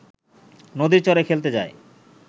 নদীর চরে খেলতে যায়।